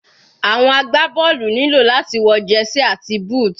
Àwọn agbá bọ́ọ̀lù nílò láti wọ jersey àti booth.